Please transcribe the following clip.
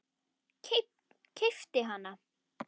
Keypt hana?